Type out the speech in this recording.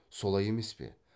солай емес пе